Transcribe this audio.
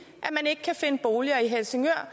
at man ikke kan finde boliger i helsingør